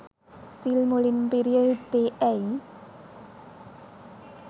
සිල් මුලින්ම පිරිය යුත්තේ ඇයි?